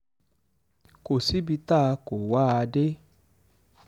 kò síbi tá a kó wa a dé